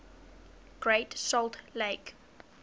great salt lake